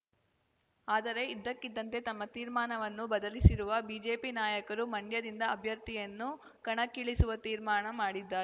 ಆದರೆ ಇದ್ದಕ್ಕಿದ್ದಂತೆ ತಮ್ಮ ತೀರ್ಮಾನವನ್ನು ಬದಲಿಸಿರುವ ಬಿಜೆಪಿ ನಾಯಕರು ಮಂಡ್ಯದಿಂದ ಅಭ್ಯರ್ಥಿಯನ್ನು ಕಣಕ್ಕಿಳಿಸುವ ತೀರ್ಮಾನ ಮಾಡಿದ್ದಾರೆ